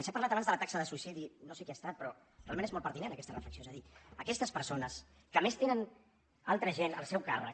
s’ha parlat abans de la taxa de suïcidi no sé qui ha estat però realment és molt pertinent aquesta reflexió és a dir aquestes persones que a més tenen altra gent al seu càrrec